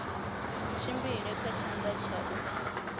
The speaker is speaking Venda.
tshimbile kha tshanḓa tsha u